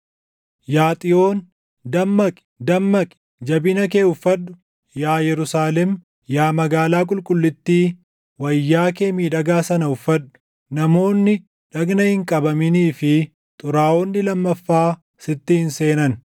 Yaa Xiyoon, dammaqi, dammaqi; jabina kee uffadhu! Yaa Yerusaalem, yaa magaalaa qulqullittii, wayyaa kee miidhagaa sana uffadhu. Namoonni dhagna hin qabaminii fi xuraaʼonni lammaffaa sitti hin seenan.